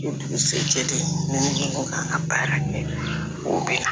O dugusajɛ ten ni mɔgɔ kan ka baara ɲɛ o bɛ